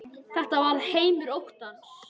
Þetta var heimur óttans.